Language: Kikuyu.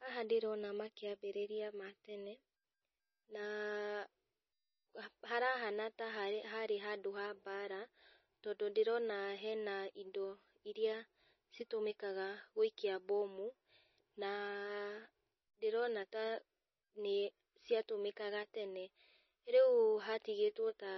Haha ndĩrona makĩambĩrĩria ma tene, na harahana ta harĩ harĩ handũ ha mbara, tondũ ndĩrona hena indo iria citũmĩkaga gũikia mbomu, na ndĩrona ta nĩ ciatũmĩkaga tene rĩu hatĩgĩtwo ta